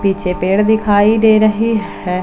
पीछे पेड़ दिखाई दे रहे हैं।